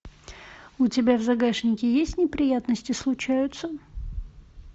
у тебя в загашнике есть неприятности случаются